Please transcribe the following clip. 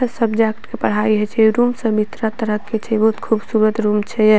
हर subject के पढ़ाई होइ छै ए रूम सभी तरह-तरह के छै बहुत खूबसूरत रूम छै ये।